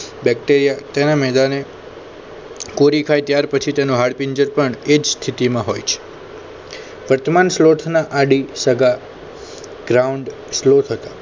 Bacteria તેના મેદાને કોરી ખાય ત્યાર પછી તેનો હાડપિંજર પણ એ જ સ્થિતિમાં હોય છે વર્તમાન સ્લોથના આડી સગા ground સ્લોથ હતા.